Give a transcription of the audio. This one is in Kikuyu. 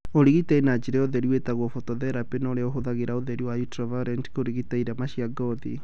ũrigitani na njĩra ya ũtheri wĩtagwo phototherapy na ũrĩa ũhũthagĩra ũtheri wa ultraviolet kũrigita irema cia ngothi